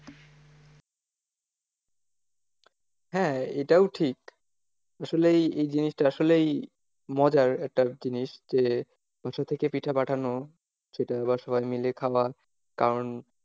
হ্যাঁ এটাও ঠিক আসলেই এই জিনিসটা আসলেই মজার একটা জিনিস যে বাসা থেকে পিঠা পাঠানো সেটা আবার সবাই মিলে খাওয়া কারণ,